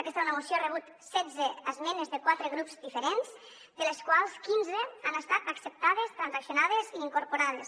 aquesta moció ha rebut setze esmenes de quatre grups diferents de les quals quinze han estat acceptades transaccionades i incorporades